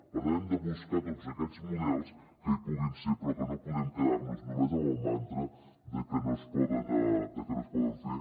per tant hem de buscar tots aquests models que hi puguin ser però que no podem quedar nos només amb el mantra de que no es poden fer